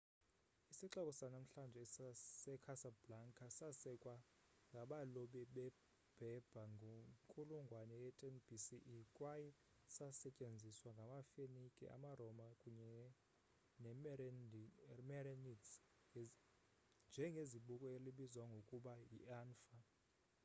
isixeko sanamhlanje secasablanca sasekwa ngabalobi beberber ngenkulungwane ye-10 bce kwaye sasetyenziswa ngamafenike amaroma kunye nemerenids njengezibuko elibizwa ngokuba yianfa